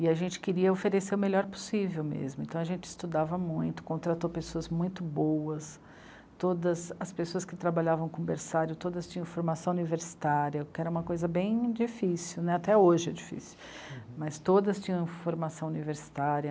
E a gente queria oferecer o melhor possível mesmo, então a gente estudava muito, contratou pessoas muito boas, todas as pessoas que trabalhavam com o berçário, todas tinham formação universitária, que era uma coisa bem difícil, né, até hoje é difícil, mas todas tinham formação universitária.